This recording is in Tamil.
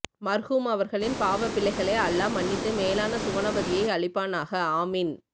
மர்ஹூம் அவர்களின் பாவ பிழைஹளை அல்லா மன்னித்து மேலான சுவனபதியை அளிப்பனாஹா ஆமீன்